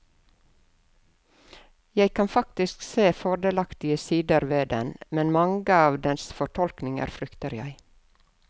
Jeg kan faktisk se fordelaktige sider ved den, men mange av dens fortolkninger frykter jeg.